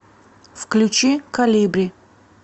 включи колибри